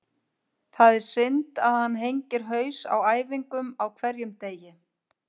Það er synd þegar hann hengir haus á æfingum á hverjum degi.